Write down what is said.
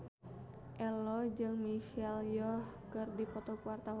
Ello jeung Michelle Yeoh keur dipoto ku wartawan